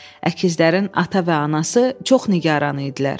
Əkizlərin ata və anası çox nigaran idilər.